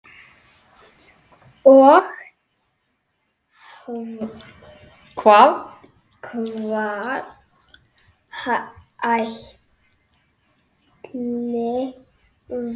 Og hvað ætli valdi því?